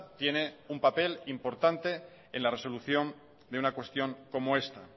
tiene un papel importante en la resolución de una cuestión como esta